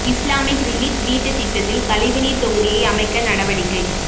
Islamic relief வீட்டுத் திட்டத்தில் கழிவு நீர்த் தொகுதியை அமைக்க நடவடிக்கை